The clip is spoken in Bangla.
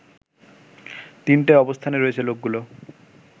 তিনটে অবস্থানে রয়েছে লোকগুলো